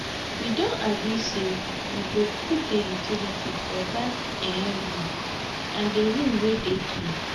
we don agree say we go dey put the utilities for dat um room and the room dey clean